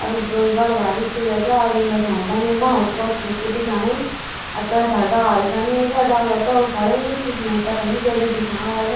अर उब बड़ु भारी क शिला चा आदिम बैठ्यां छन वेमा हल्कू हल्कू कुई दिख्याणाी अ पेथर डाल छन येका डाला ताल खड़ु हुईं पिछने पता नि ज्या ज्या दिखा ह्वाल ।